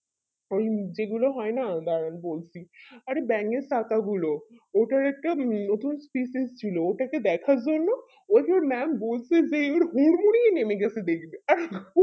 ওই যেগুলো হয় না দাঁড়ান বলছি অরে ব্যাঙের ছাতা গুলো ওটা একটা নতুন species ছিল ওটাকে দেখার জন্য ওই যে mam বলছি যে একবারে হুর মুড়িয়ে নেমে গেছে দেখতে